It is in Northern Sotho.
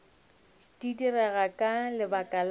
di direga ka lebaka la